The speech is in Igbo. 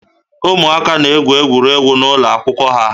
Ụmụaka na-egwu egwuregwu n'ụlọ akwụkwọ ha